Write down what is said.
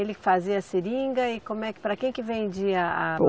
Ele fazia a Seringa e como é que, para que que vendia a?